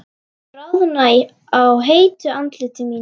Bráðna á heitu andliti mínu.